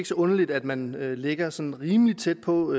så underligt at man ligger sådan rimelig tæt på